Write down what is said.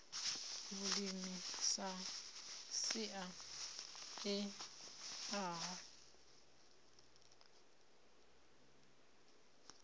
vhulimi sa sia i eaho